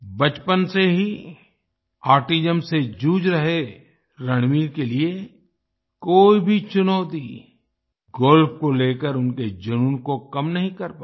बचपन से ही ऑटिज्म से जूझ रहे रणवीर के लिए कोई भी चुनौती गोल्फ को लेकर उनके जुनून को कम नहीं कर पाई